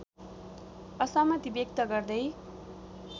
असहमति व्यक्त गर्दै